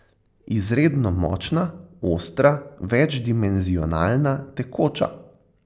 Izredno močna, ostra, večdimenzionalna, tekoča.